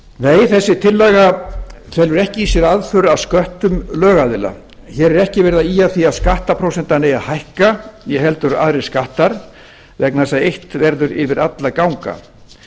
nei þessi tillaga felur ekki í sér aðför að sköttum lögaðila hér er ekki verið að ýja að því að skattprósentan eigi að hækka né heldur aðrir skattar vegna þess að eitt verður yfir alla að ganga